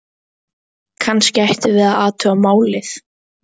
Kannski ættum við að athuga málið.